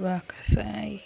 lwa kasayi.